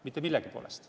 Mitte millegi poolest.